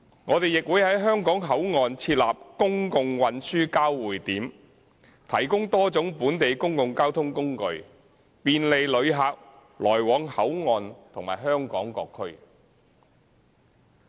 我們亦會在香港口岸設立公共運輸交匯處，提供多種本地公共交通工具，便利旅客來往香港口岸及香港各區。